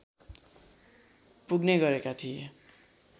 पुग्ने गरेका थिए